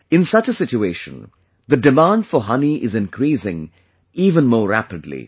In such a situation, the demand for honey is increasing even more rapidly